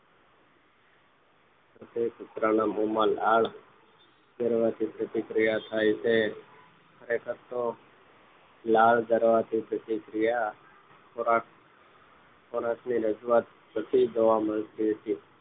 કુતરાના મોમાં લાળ જરવાથી પ્રતિક્રિયા થાય છે ખરેખર તો લાળ જર્વાથી પ્રતિક્રિયા ખોરાક ખોરાક ની રજુયાત થી જોવા મળતી